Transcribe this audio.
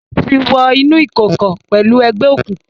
O ti wo inú ìkọkọ pẹlú egbeokunkun